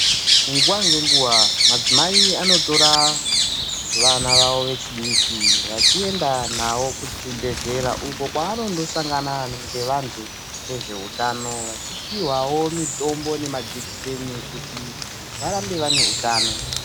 Nguwa ngenguwa madzimai anotora vana vavo vechidiki vachienda navo kuchibhehlera uko kwavanondosangana ngevantu vezveutano vachipihwawo mitombo nemajekiseni kuti varambe vane utano.